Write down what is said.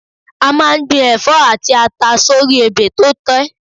A máa ń gbin ẹ̀fọ́ àti ata sórí ebè tó tẹ́